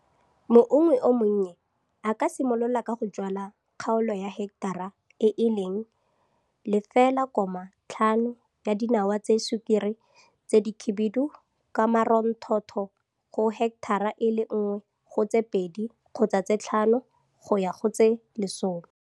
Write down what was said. Moungwi o monnye, a ka simolola ka go jwala kgaolo ya heketara e e leng 0,5 ya dinawa tsa sukiri tse dikhibidu ka maronthotho go heketara e le 1 go tse 2 kgotsa tse 5, go ya go tse 10.